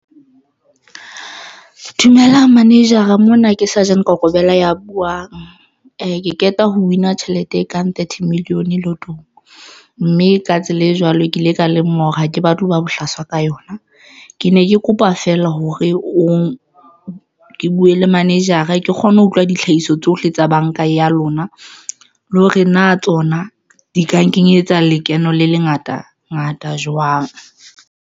Dumelang manager-a mona ke seargent Kokobela ya buwang. Ke qeta ho win-a tjhelete e kang thirty million lotto-ng, mme ka tsela e jwalo ke ile ka lemoha hore ha ke batle ho ba bohlaswa ka yona, ke ne ke kopa feela hore o buwe le manager-a ke kgone ho utlwa ditlhahiso tsohle tsa banka ya lona, le hore na tsona di ka nkenyetsa lekeno le lengata ngata jwang.